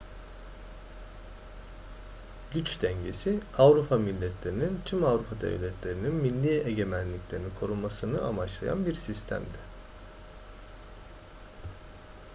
güç dengesi avrupa milletlerinin tüm avrupa devletlerinin milli egemenliklerini korumasını amaçlayan bir sistemdi